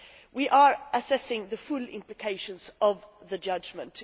We are assessing the full implications of the judgment.